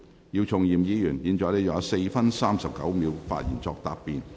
姚松炎議員，你還有4分39秒作發言答辯。